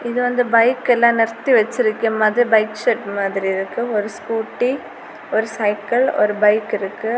இது வந்து பைக்கெல்லா நிறுத்தி வச்சிருக்க மாதிரி பைக் செட்டு மாதிரி இருக்கு. ஒரு ஸ்கூட்டி ஒரு சைக்கிள் ஒரு பைக் இருக்கு.